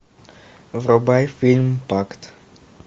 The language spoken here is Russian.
врубай фильм пакт